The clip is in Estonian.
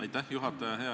Aitäh, juhataja!